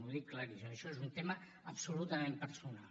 ho dic claríssim això és un tema absolutament personal